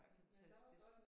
Ej fantastisk